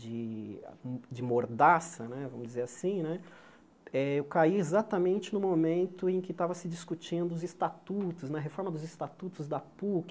de de mordaça né, vamos dizer assim né, eh eu caí exatamente no momento em que estava se discutindo os estatutos, na reforma dos estatutos da Puc.